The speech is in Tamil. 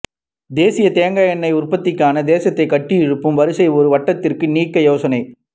தேசிய தேங்காய் எண்ணெய் உற்பத்திக்கான தேசத்தை கட்டியெழுப்பும் வரியை ஒரு வருடத்திற்கு நீக்க யோசனை